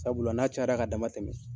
Sabula n'a cayara ka dama tɛmɛ